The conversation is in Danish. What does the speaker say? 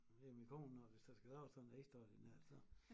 Det er min kone når vi så skal lave sådan ekstraordinært så